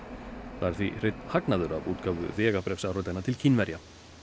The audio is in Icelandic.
það er því hreinn hagnaður af útgáfu vegabréfsáritana til Kínverja